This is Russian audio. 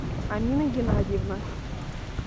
амина геннадьевна